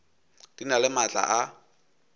di na le maatla a